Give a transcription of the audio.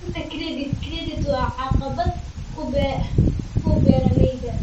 La'aanta credit credit waa caqabad ku beeralayda.